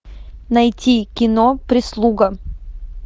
найти кино прислуга